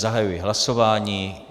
Zahajuji hlasování.